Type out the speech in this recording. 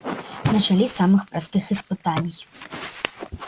начали с самых простых испытаний